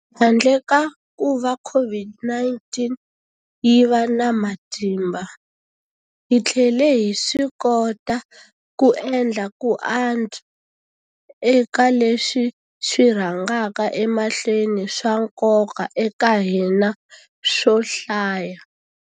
Handle ka kuva COVID-19 yi va na matimba, hi tlhele hi swikota ku endla ku antswa eka leswi swi rhangaka emahlweni swa nkoka eka hina swo hlaya.